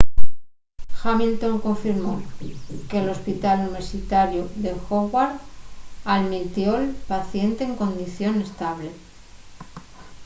hamilton confirmó que l’hospital universitariu de howard almitió’l paciente en condición estable